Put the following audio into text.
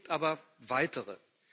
Es gibt aber weitere.